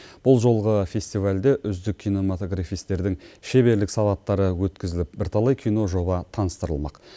бұл жолғы фестивальде үздік кинематографистердің шеберлік сағаттары өткізіліп бірталай киножоба таныстырылмақ